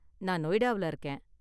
நான் நொய்டாவுல இருக்கேன்.